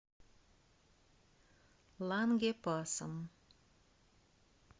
лангепасом